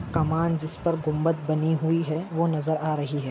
कमान जिस पर गुम्बत बनी हुई है वो नजर आ रही है।